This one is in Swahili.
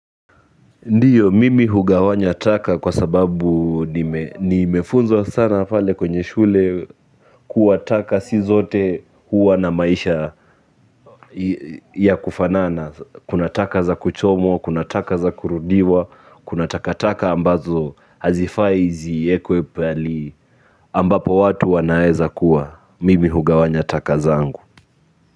Ndiyo, mimi hugawanya taka kwa sababu nimefunzwa sana pale kwenye shule kuwa taka si zote huwa na maisha ya kufanana, kuna taka za kuchomwa, kuna taka za kurudiwa, kuna takataka ambazo hazifai ziekwe pahali ambapo watu wanaeza kuwa, mimi hugawanya taka zangu.